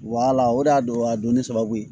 Wala o de y'a don a donni sababu ye